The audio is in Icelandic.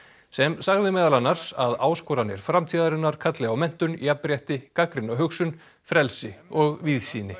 sem sagði meðal annars að áskoranir framtíðarinnar kalli á menntun jafnrétti gagnrýna hugsun frelsi og víðsýni